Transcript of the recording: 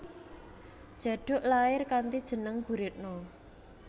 Djaduk lair kanthi jeneng Guritno